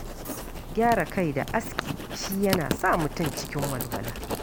Gyara kai da aske shi yana sa mutum cikin walwala.